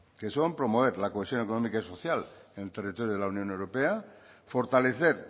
que son promover la cohesión económica y social en el territorio de la unión europea fortalecer